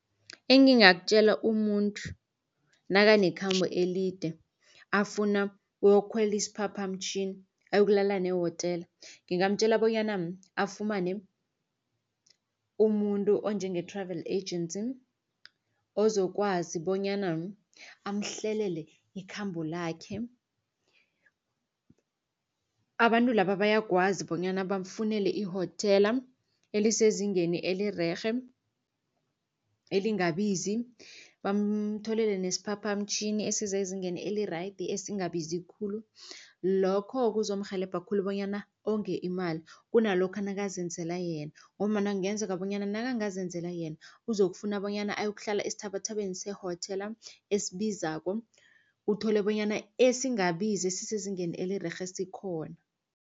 Engingakutjela umuntu nakakhambo elide afuna ukuyokhwela isiphaphamtjhini ayokulala nehotela. Ngingamtjela bonyana afumane umuntu onjenge-travel agent ozokwazi bonyana amhlelele ikhambo lakhe. Abantu laba bayakwazi bonyana bamfunele ihotela elisezingeni elirerhe elingabizi. Bamtholele nesiphaphamtjhini esisezingeni eli-right esingabizi khulu lokho kuzomrhelebha khulu bonyana ongeke imali kunalokha nakazenzela yena. Ngombana kungenzeka bonyana nakangazenzela yena uzokufuna bonyana ayokuhlala esithabathabeni sehotela esibizako uthole bonyana esingabizi esisezingeni elirerhe sikhona.